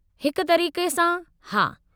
हिक तरीक़े सां, हा।